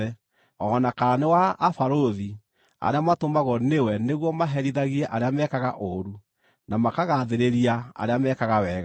o na kana nĩ wa abarũthi arĩa matũmagwo nĩwe nĩguo maherithagie arĩa mekaga ũũru na makagaathĩrĩria arĩa mekaga wega.